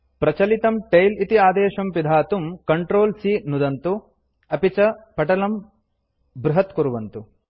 प्रचलितं टेल इति आदेशं पिधातुं Ctrl C नुदन्तु अपि च पटलं बृहत्कुर्वन्तु